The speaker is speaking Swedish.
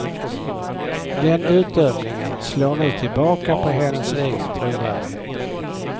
Den utdömningen slår nu tillbaka på hennes egen trovärdighet.